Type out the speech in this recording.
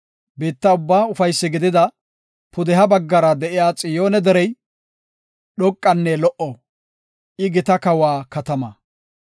Biitta ubbaa ufaysi gidida, pudeha baggara de7iya Xiyoone derey, dhoqanne lo77o; I gita kawa katama.